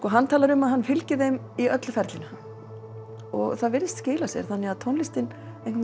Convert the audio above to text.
hann talar um að hann fylgi þeim í öllu ferlinu og það virðist skila sér þannig að tónlistin